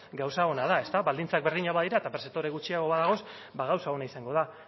gauza ona da ezta baldintzak berdinak badira eta pertzeptore gutxiago badaude gauza ona izango da